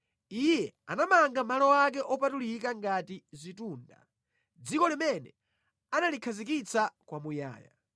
Iye anamanga malo ake opatulika ngati zitunda, dziko limene analikhazikitsa kwamuyaya.